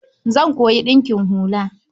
Zan koyi ɗinkin hula.